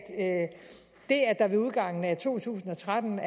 det at der ved udgangen af to tusind og tretten